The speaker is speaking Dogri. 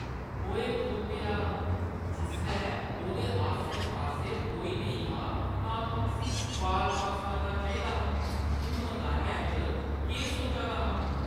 ओए खोतेआ। जिसलै ओह्दे आस्सै-पास्सै कोई नेईं हा तां तूं उस्सी बाल पास करना चाहिदा हा। तूं मदानै च केह् सोचा दा हा?